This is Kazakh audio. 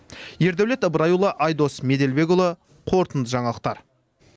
ердәулет ыбырайұлы айдос меделбекұлы қорытынды жаңалықтар